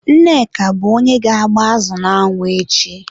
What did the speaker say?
Nneka bụ onye ga-agba azụ n'anwụ echi.